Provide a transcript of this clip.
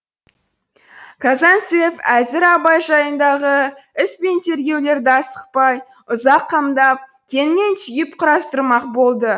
казанцев әзір абай жайындағы іс пен тергеулерді асықпай ұзақ қамдап кеңінен түйіп құрастырмақ болды